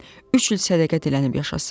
Üç il sədəqə dilənib yaşasın.